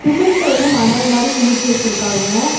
Cement வந்து மணல் மாரி குமிச்சு வச்சிருக்காங்க.